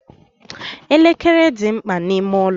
Elekere dị mkpa n'ime ụlọ.